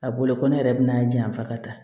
A bolo ko ne yɛrɛ bɛ n'a janfa ka taa